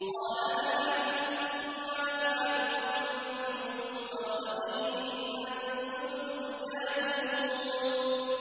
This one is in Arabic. قَالَ هَلْ عَلِمْتُم مَّا فَعَلْتُم بِيُوسُفَ وَأَخِيهِ إِذْ أَنتُمْ جَاهِلُونَ